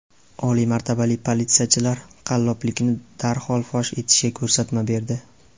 Oliy martabali politsiyachilar qalloblikni darhol fosh etishga ko‘rsatma berdi.